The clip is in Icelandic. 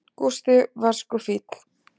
Gústi var sko fínn.